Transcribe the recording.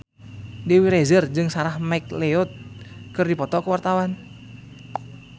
Dewi Rezer jeung Sarah McLeod keur dipoto ku wartawan